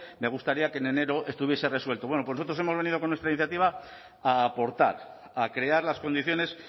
me gustaría que en enero estuviese resuelto bueno pues nosotros hemos venido con nuestra iniciativa a aportar a crear las condiciones